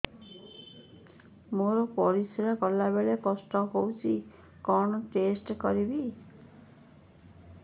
ମୋର ପରିସ୍ରା ଗଲାବେଳେ କଷ୍ଟ ହଉଚି କଣ ଟେଷ୍ଟ କରିବି